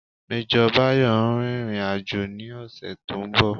Major Bayo ń rìnrìn àjò ní ọ̀sẹ̀ to ń bọ̀